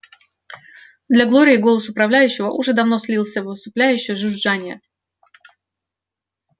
для глории голос управляющего уже давно слился в усыпляющее жужжание